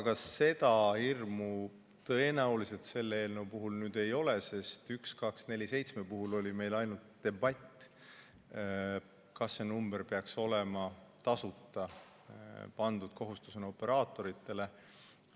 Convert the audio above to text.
Aga seda hirmu tõenäoliselt selle eelnõu puhul ei ole, sest 1247 puhul oli meil ainult debatt, kas see number peaks olema tasuta ja kas panna see kohustus operaatoritele.